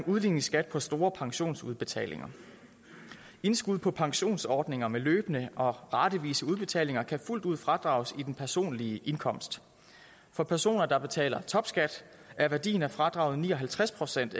udligningsskat på store pensionsudbetalinger indskud på pensionsordninger med løbende og ratevise udbetalinger kan fuldt ud fradrages i den personlige indkomst for personer der betaler topskat er værdien af fradraget ni og halvtreds procent